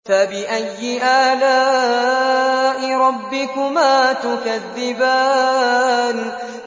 فَبِأَيِّ آلَاءِ رَبِّكُمَا تُكَذِّبَانِ